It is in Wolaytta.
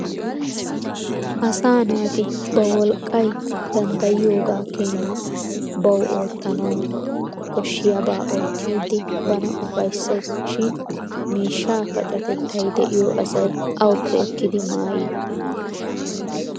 Asaa naati ba wolqqay danddayoogaa Keenan bawu oottanawu koshshiyaabaa oottiddi bana ufayisses shin miishshaa pacatettay de'iyo asay awuppe ekkidi maayidi?